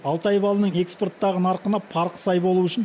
алтай балының экспорттағы нарқына парқы сай болу үшін